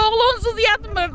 Oğlu onsuz yatmırdı.